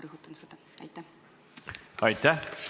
Aitäh!